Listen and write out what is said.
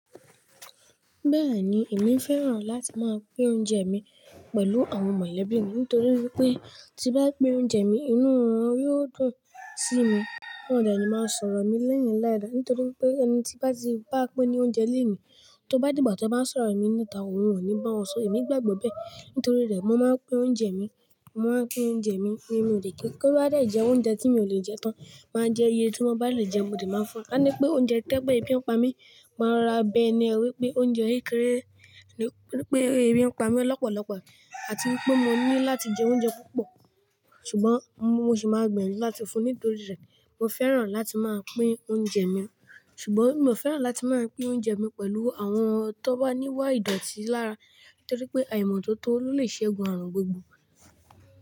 Bẹ́ẹ̀ni, èmi fẹ́ràn láti máa pín oúnjẹ mi pẹ̀lú àwọn mọ̀lẹ́bí mi nítorí wípé tí bá pín oúnjẹ mi inú wọn yóò dùn sí mi. Wọn ò de ni má sọ̀rọ̀ mi léyìn láìda nítorí pé ẹni tí bá ti bá pín ni oúnjẹ léni, tó bá dìgbà tí wọ́n bá ń sọ̀rọ̀ mi níta, òun ò ní bá wọn sọ̀. Èmi gbàgbọ́ bẹ́ẹ̀ nítorí rẹ̀ mo máa ń pín oúnjẹ mi. Mo máa ń pín oúnjẹ mi. Tí ó bá de jẹ oúnjẹ tí mi ò lè jẹ tán, máa jẹ iyẹ tí mo bá lè jẹ, mo dẹ̀ máa fún ka ní pé oúnjẹ toba je pé ebi ń pa mí, màá rora bẹ̀ eniyen wípé oúnjẹ kékeré ni pé ebi ń pa mí lọ́pọ̀lọ́pọ̀ àti wípé mo ní láti jẹ oúnjẹ púpọ̀ ṣùgbọ́n mo sì máa gbiyanju láti fún un nítorí rẹ̀. Mo fẹ́ràn láti máa pín oúnjẹ mi ṣùgbọ́n mio fẹ́ràn láti máa pín oúnjẹ mi pẹ̀lú àwọn tón bá ní wá ìdọ̀tí lára nítorí pé ìmọ̀tótó ló lè ṣẹ́gun àrùn gbogbo.